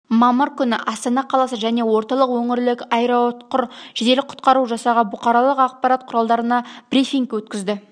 мамыр күні астана қаласы және орталық өңірлік аэроұтқыр жедел құтқару жасағы бұқаралық ақпарат құралдарына брифинг өткізді